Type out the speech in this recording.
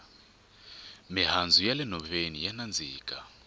mihandzu ya le nhoveni ya nandzika